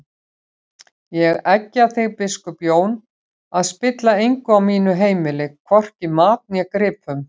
Ég eggja þig biskup Jón að spilla engu á mínu heimili, hvorki mat né gripum!